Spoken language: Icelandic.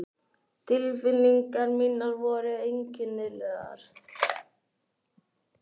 Tilfinningar mínar voru einkennilegar.